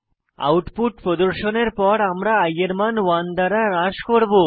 output প্রদর্শনের পর আমরা i এর মান 1 দ্বারা হ্রাস করব